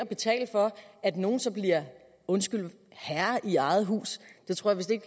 betale for at nogle så bliver undskyld herre i eget hus det tror